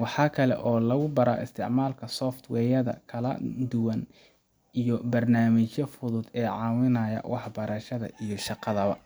Waxa kale oo lagu baraa isticmaalka software yada kala duwan iyo barnaamijyada fudud ee caawiya waxbarashada iyo shaqada ba.